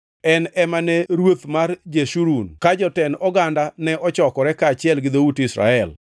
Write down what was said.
En ema ne ruoth mar Jeshurun, ka jotend oganda ne ochokore, kaachiel gi dhout Israel.”